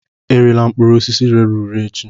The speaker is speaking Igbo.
Erela mkpụrụ osisi rere ure echi!